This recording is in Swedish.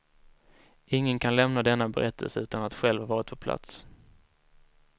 Ingen kan lämna denna berättelse utan att själv varit på plats.